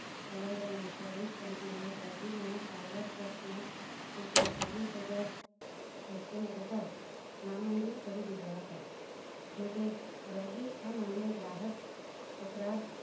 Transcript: LID insurance company એ દર્દીના સારવાર ખર્ચ ના રૂપિયા છાવીશ હજાર બસો ને પચાસ નામંજૂર કરી દીધા હતા જો કે દર્દી આ મામલે ગ્રાહક તકરાર